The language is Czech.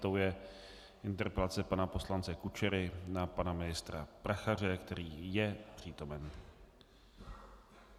Tou je interpelace pana poslance Kučery na pana ministra Prachaře, který je přítomen.